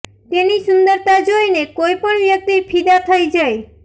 તેની સુંદરતા જોઇને કોઈ પણ વ્યક્તિ ફિદા થઇ જાય